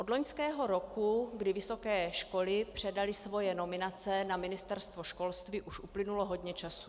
Od loňského roku, kdy vysoké školy předaly svoje nominace na ministerstvo školství, už uplynulo hodně času.